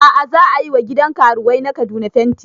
A'a za ayi wa gidan karuwai na Kaduna fenti